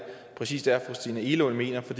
præcis er fru christina egelund mener for